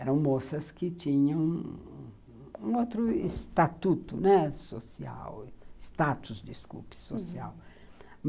Eram moças que tinham um outro estatuto social, né, status, desculpe, social. Uhum.